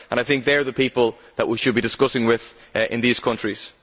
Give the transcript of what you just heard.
I think they are the people that we should be discussing with in these countries.